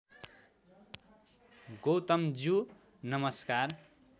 गौतमज्यू नमस्कार